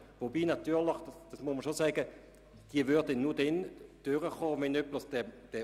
Dabei ist natürlich festzuhalten, dass allein mit dieser Überweisung die Vorlage nicht einfach durchkäme.